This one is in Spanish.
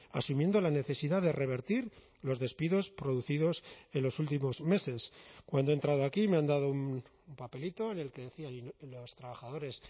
asumiendo la necesidad de revertir los despidos producidos en los últimos meses cuando he entrado aquí me han dado un papelito en el que decía los trabajadores